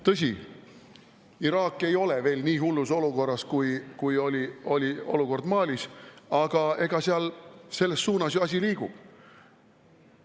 Tõsi, Iraak ei ole veel nii hullus olukorras, kui oli Mali, aga selles suunas seal asi liigub.